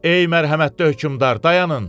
Ey mərhəmətli hökmdar, dayanın!